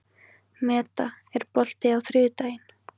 Meda, er bolti á þriðjudaginn?